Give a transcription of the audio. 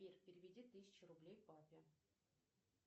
сбер переведи тысячу рублей папе